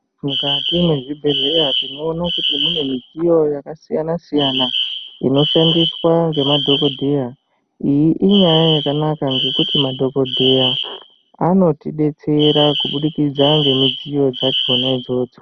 Mukati mwezvibhedhlera tinoone kuti mune midziyo yakasiyana-siyana inoshandiswa ngemadhokodheya iyi inyaya yakanaka ngekuti madhokodheya anotidetsera kubudikidza ngemudziyo dzakona dzona idzodzo.